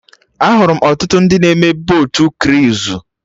Ahụrụ m ọtụtụ ndị na-eme botu kruizu